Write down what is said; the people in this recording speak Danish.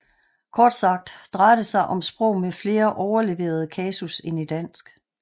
Kort sagt drejer det sig om sprog med flere overleverede kasus end i dansk